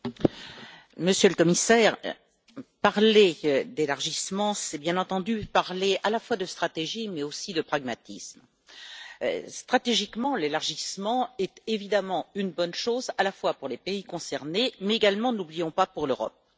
Monsieur le Président, Monsieur le Commissaire, parler d'élargissement, c'est bien entendu parler à la fois de stratégie mais aussi de pragmatisme. Stratégiquement, l'élargissement est évidemment une bonne chose, à la fois pour les pays concernés mais également ne l'oublions pas pour l'Europe.